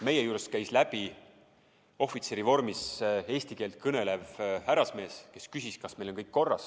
Meie juurest käis läbi ohvitserivormis eesti keelt kõnelev härrasmees, kes küsis, kas meil on kõik korras.